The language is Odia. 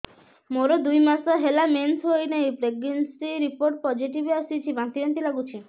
ମୋର ଦୁଇ ମାସ ହେଲା ମେନ୍ସେସ ହୋଇନାହିଁ ପ୍ରେଗନେନସି ରିପୋର୍ଟ ପୋସିଟିଭ ଆସିଛି ବାନ୍ତି ବାନ୍ତି ଲଗୁଛି